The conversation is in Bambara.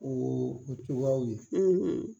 O o togoyaw ye